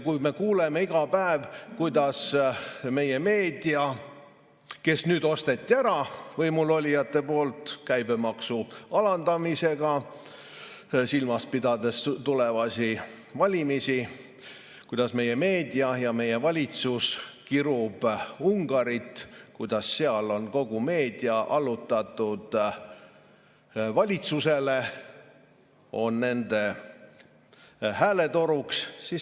Me kuuleme iga päev, kuidas meie meedia – kes nüüd osteti ära võimulolijate poolt käibemaksu alandamisega, silmas pidades tulevasi valimisi –, kuidas meie meedia ja meie valitsus kiruvad Ungarit, kuidas seal on kogu meedia allutatud valitsusele, on nende hääletoruks.